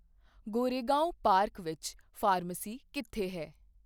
Goregaon park ਵਿੱਚ pharmacy ਕਿੱਥੇ ਹੈ